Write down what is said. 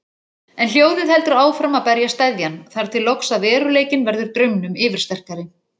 En hljóðið heldur áfram að berja steðjann, þar til loks að veruleikinn verður draumnum yfirsterkari.